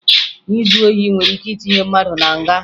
Izu ohi nwere ike itinye mmadụ na nga